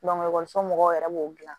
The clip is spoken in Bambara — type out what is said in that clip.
ekɔliso mɔgɔw yɛrɛ b'o dilan